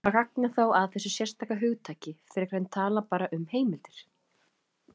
Hvaða gagn er þá að þessu sérstaka hugtaki, frekar en tala bara um heimildir?